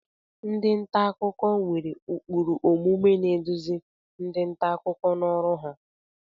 Ndị ọrụ nta akụkọ nwere ụkpụrụ omume na-eduzi ndị nta akụkọ n'ọrụ ha.